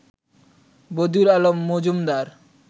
Badiul Alam Majumdar